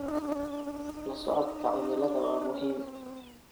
La socodka cimilada waa muhiim.